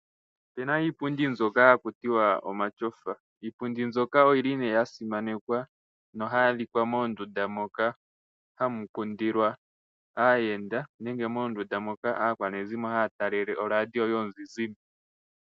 Opu na iipundi mbyoka haku tiwa omatyofa. Oyi li nee yasimanekwa na ohayi adhika moondunda moka hamu kundilwa aayenda, nenge moondunda moka aakwanezimo haa talele oradio yomuzizimbe.